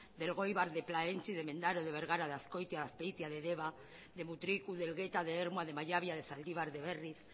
de elgoibar de plaentxi de mendaro de bergara de azkoitia de azpeitia de deba de mutriku de elgeta de ermua de mallabia de zaldibar de berriz